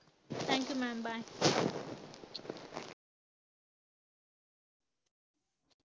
Thank you maam, bye